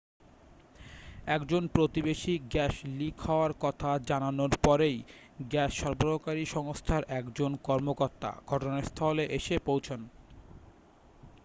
একজন প্রতিবেশী gas leak হওয়ার কথা জানানোর পরেই গ্যাস সরবরাহকারী সংস্থার একজন কর্মকর্তা ঘটনাস্থলে এসে পৌঁছন